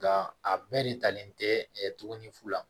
Nka a bɛɛ de talen tɛ tuguni fu la